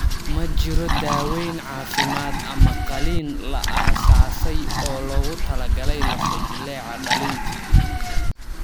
Ma jiro daawayn caafimaad ama qaliin la aasaasay oo loogu talagalay lafo-jileeca dhallinta.